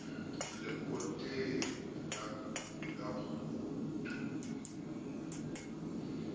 lekoteng ho tu o balabala